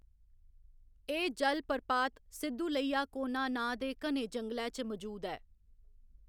एह्‌‌ जलप्रपात सिद्दुलैया कोना नांऽ दे घने जंगलै च मजूद ऐ।